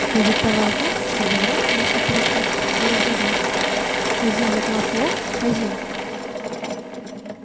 но диктовал так чтобы враг если перехватит не разгадал хазин закладка ок хазин